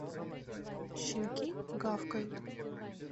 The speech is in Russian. щенки гавкают